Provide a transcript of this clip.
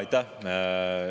Aitäh!